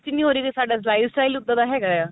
ਇੰਨੀ ਹੋ ਰਹੀ ਜੇ ਸਾਡਾ life style ਉਦਾਂ ਦਾ ਹੈਗਾ ਆ